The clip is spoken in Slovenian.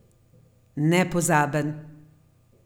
Nepozaben!